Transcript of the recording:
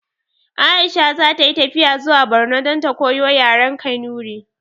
Aisha zata yi tafiya zuwa barno dan ta koyo yaren kanuri